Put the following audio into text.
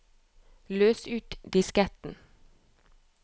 løs ut disketten